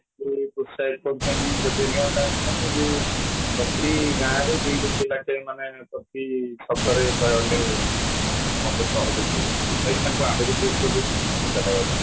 କରୁଛନ୍ତି ହେବେନି ଆଉ କାହାକୁ ଯେ ପ୍ରତି ଗାଁରେ ଦିଟା ପିଲା ମାନେ ପ୍ରତି ଛକରେ କହିବାକୁ ଗଲେ ମଦ ସହଜରେ ମିଳିଯାଉଛି ଆହୁରି ପ୍ରେରିତ କରୁଛିନା ନିଶା ଖାଇବା ପାଇଁ